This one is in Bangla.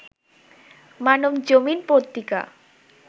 মানবজমিন পত্রিকা